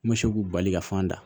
N bɛ se k'u bali ka fan da